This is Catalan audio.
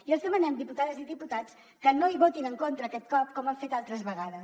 i els demanem diputades i diputats que no hi votin en contra aquest cop com han fet altres vegades